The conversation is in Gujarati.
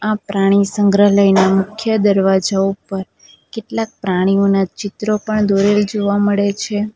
પ્રાણીસંગ્રહાલયના મુખ્ય દરવાજા ઉપર કેટલાક પ્રાણીઓના ચિત્રો પણ દોરેલ જોવા મળે છે.